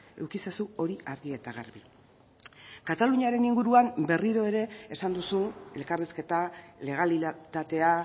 eduki ezazu hori argi eta garbi kataluniaren inguruan berriro ere esan duzu elkarrizketa legalitatea